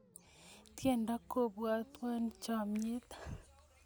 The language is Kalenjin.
tiendo kopuatwa chamiet